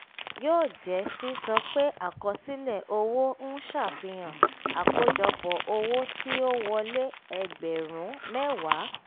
yóò jẹ́ sísọ pé àkọsílẹ̀ owó ń ṣàfihàn àkójọpọ̀ owo ti o wole ẹgbẹ̀rún mẹ́wàá